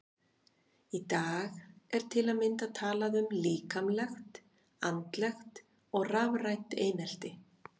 Í dag er til að mynda talað um líkamlegt, andlegt og rafrænt einelti.